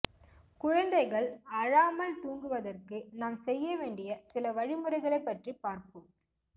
குழந்தைகள் அழாமல் தூங்குவதற்க்கு நாம் செய்ய வேண்டிய சில வழிமுறைகளை பற்றி பார்ப்போம்